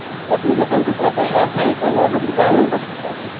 Application કંઈ ના થઈ તો એ બધું જાણવું પડશે ને?